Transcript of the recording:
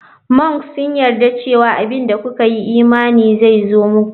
Mnks sun yarda cewa abin da kuka yi imani zai zo muku.